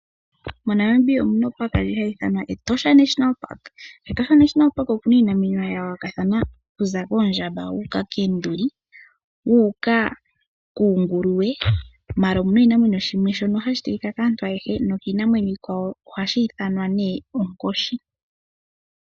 MoNamibia omuna opaaka ndjono hayi ithanwa Etosha National Park. KEtosha National okuna iinamwenyo ya yoolokathana okuza kOondjamba, koonduli wuuka kUunguluwe. Ashike omuna oshinamwenyo shatseyika kaantu oyendji nokiinamwenyo iikwawo, ohashi ithanwa nee Onkoshi.